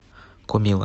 комилла